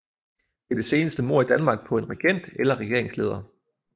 Det er det seneste mord i Danmark på en regent eller regeringsleder